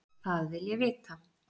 Það vil ég vita.